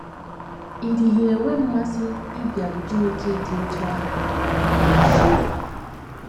Ị́ dịghị enwe mmasị ịbịaru Chineke dị otú ahụ nso?